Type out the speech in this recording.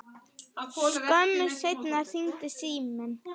Skömmu seinna hringdi síminn.